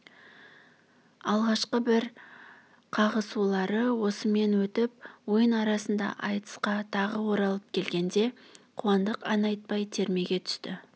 алғашқы бір қағысулары осымен өтіп ойын арасында айтысқа тағы оралып келгенде қуандық ән айтпай термеге түсті